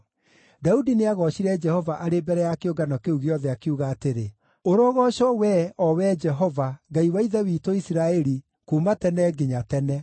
Daudi nĩagoocire Jehova arĩ mbere ya kĩũngano kĩu gĩothe, akiuga atĩrĩ, “Ũrogoocwo wee, o Wee Jehova, Ngai wa ithe witũ Isiraeli, kuuma tene nginya tene.